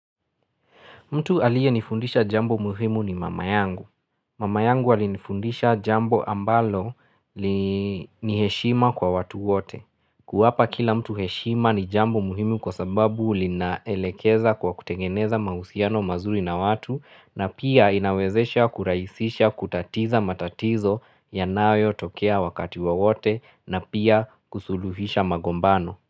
Mtu aliyenifundisha jambo muhimu ni mama yangu. Mama yangu alinifundisha jambo ambalo ni heshima kwa watu wote. Kuwapa kila mtu heshima ni jambo muhimu kwa sababu linaelekeza kwa kutengeneza mahusiano mazuri na watu na pia inawezesha kuraisisha kutatiza matatizo ya nayo tokea wakati wa wote na pia kusuluhisha magombano.